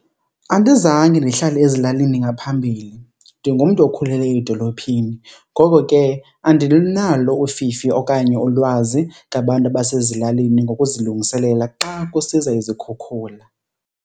Andizange ndihlale ezilalini ngaphambili, ndingumntu okhulele edolophini ngoko ke andinalo ufifi okanye ulwazi ngabantu abasezilalini ngokuzilungiselela xa kusiza izikhukhula.